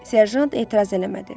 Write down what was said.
Serjant etiraz eləmədi.